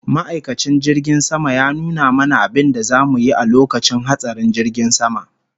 Ma'aikacin jirgin sama ya nuna mana abinda zamu yi a lokacin hatsarin jirgin sama